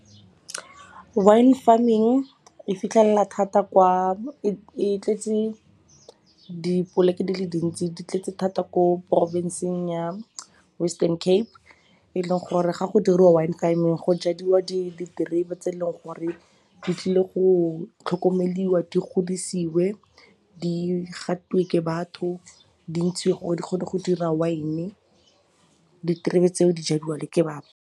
Wine farming e tletse dipoleke di le dintsi di tletse thata ko porofensing ya Western Cape. E leng gore ga go dirwa wine farming go jadiwa diterebe tse e leng gore di tlile go tlhokomeliwa, di godisiwe, di gatiwe ke batho, di ntshiwe gore di kgone go dira wine-e. Diterebe tseo di jadiwa le ke batho.